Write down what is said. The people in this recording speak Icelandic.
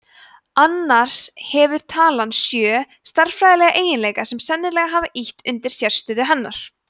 annars hefur talan sjö stærðfræðilega eiginleika sem sennilega hafa ýtt undir sérstöðu hennar